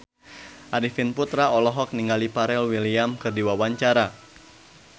Arifin Putra olohok ningali Pharrell Williams keur diwawancara